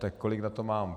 Tak kolik na to mám?